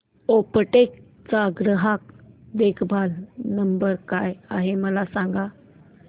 Aptech चा ग्राहक देखभाल नंबर काय आहे मला सांग